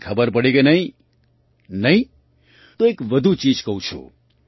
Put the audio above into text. કંઈ ખબર પડી કે નહીં નહીં તો એક વધુ ચીજ કહું છું